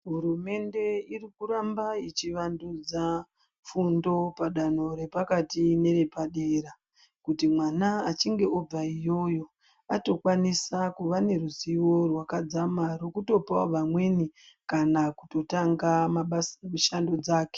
Hurumende irikurambe ichivandudza fundo padanho repakati nere padera kuti mwana achinge obva iyoyo atokwanisa kuva neruzivo rwakadzama rwekutopawo vamweni kana kutotanga mishando dzake.